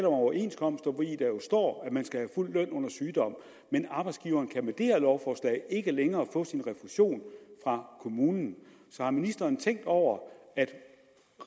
overenskomster hvori der jo står at man skal have fuld løn under sygdom men arbejdsgiveren kan med det her lovforslag ikke længere få sin refusion fra kommunen så har ministeren tænkt over